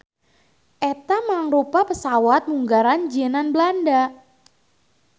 Eta mangrupa pesawat munggaran jieunan Belanda